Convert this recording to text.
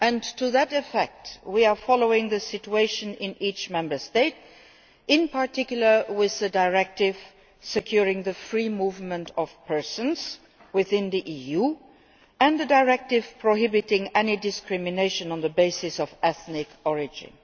To that effect we are following the situation in each Member State, in particular with the Directive securing the free movement of persons within the EU and the Directive prohibiting any discrimination on the basis of ethnic origin.